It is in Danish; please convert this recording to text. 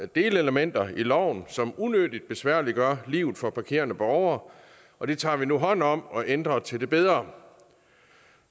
delelementer i loven som unødigt besværliggør livet for parkerende borgere og det tager vi nu hånd om og ændrer til det bedre